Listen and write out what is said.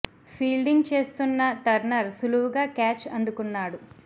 fielding చేస్తు్న్న Turner సులువుగా catch అందుకున్నాడు